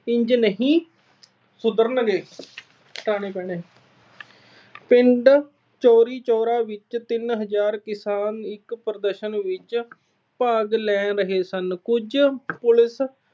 ਇੰਝ ਨਹੀਂ ਸੁਧਰਨਗੇ। ਪਿੰਡ ਚੌਰਾ-ਚੌਰੀ ਵਿੱਚ ਤਿੰਨ ਹਜਾਰ ਕਿਸਾਨ ਇੱਕ ਪ੍ਰਦਰਸ਼ਨ ਵਿੱਚ ਭਾਗ ਲੈ ਰਹੇ ਸਨ। ਕੁਝ police